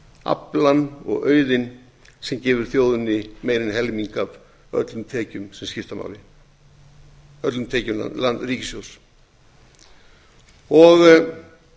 aflann og auðinn sem gefur þjóðinni meira en helming af öllum tekjum ríkissjóðs sem skipta máli